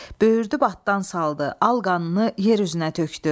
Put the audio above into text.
Büyürdü batdan saldı, al qanını yer üzünə tökdü.